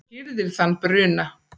hirðir þann bruna